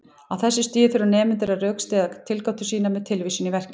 Á þessu stigi þurfa nemendur að rökstyðja tilgátur sínar með tilvísun í verkið.